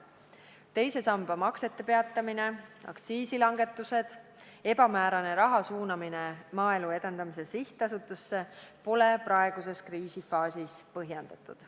Teise samba maksete peatamine, aktiisilangetused, ebamäärane raha suunamine Maaelu Edendamise Sihtasutusse pole praeguses kriisifaasis põhjendatud.